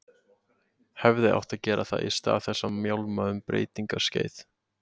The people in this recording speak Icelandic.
Hefði átt að gera það í stað þess að mjálma um breytingaskeið.